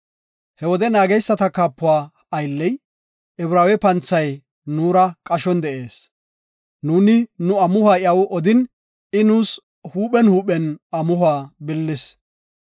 He wode naageysata kaapuwa aylley, Ibraawe panthay, nuura qashon de7ees. Nuuni nu amuhuwa iyaw odin, I nuus huuphen huuphen amuhuwa billis.